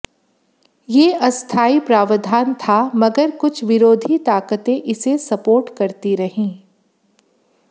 ये अस्थायी प्रावधान था मगर कुछ विरोधी ताकतें इसे सपोर्ट करती रहीं